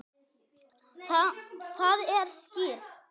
Það er skýrt.